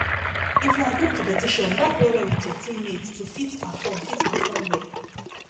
if na group competiton work well well with your team mates to fit perform fit perform well